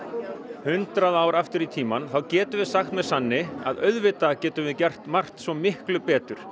hundrað ár aftur í tímann getum við sagt með sanni að auðvitað getum við gert margt svo miklu betur